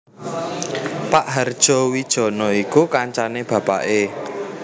Pak Hardjowijono iku kancane bapaké